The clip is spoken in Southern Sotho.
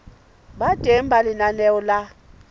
ba teng ha lenaneo la